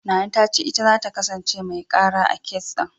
Nana ta ce ita zata kasance mai ƙara, a kes ɗin.